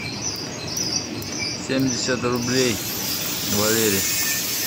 семьдесят рублей валере